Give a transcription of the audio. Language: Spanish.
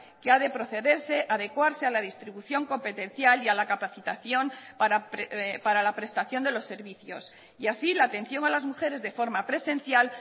que ha de procederse adecuarse a la distribución competencial y a la capacitación para la prestación de los servicios y así la atención a las mujeres de forma presencial